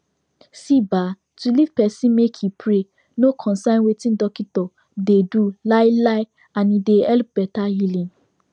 see um to leave person make e pray no consign wetin dockitor dey do um and e dey help better healing